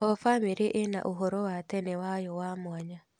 O bamĩrĩ ĩna ũhoro wa tene wayo wa mwanya.